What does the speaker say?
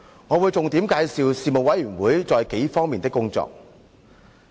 我會重點介紹事務委員會在幾方面的工作。